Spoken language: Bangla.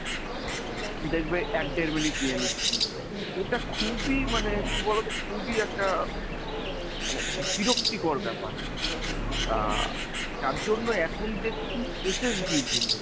দেখবে এক দেড় মিনিট নিয়ে নিচ্ছে এটা খুবই মানে কি বলতো খুবই একটা মানে বিরক্তিকর ব্যাপার। আহ তার জন্য এখন দেখছি SSTউঠেছে।